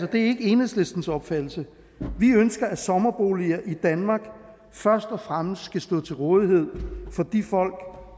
det er ikke enhedslistens opfattelse vi ønsker at sommerboliger i danmark først og fremmest skal stå til rådighed for de folk